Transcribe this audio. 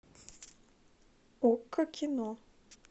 окко кино